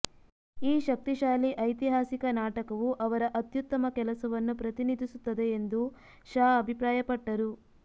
ಈ ಶಕ್ತಿಶಾಲಿ ಐತಿಹಾಸಿಕ ನಾಟಕವು ಅವರ ಅತ್ಯುತ್ತಮ ಕೆಲಸವನ್ನು ಪ್ರತಿನಿಧಿಸುತ್ತದೆ ಎಂದು ಶಾ ಅಭಿಪ್ರಾಯಪಟ್ಟರು